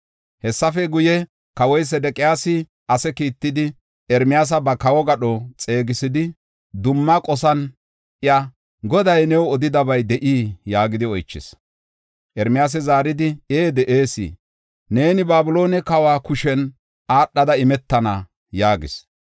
Hessafe guye, kawoy Sedeqiyaasi ase kiittidi, Ermiyaasa ba kawo gadho xeegisidi, dumma qosan iya, “Goday new odidabay de7ii?” yaagidi oychis. Ermiyaasi zaaridi, “Ee de7ees; neeni Babiloone kawa kushen aadhada imetana” yaagis